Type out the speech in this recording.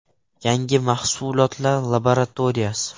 Yangi mahsulotlar laboratoriyasi.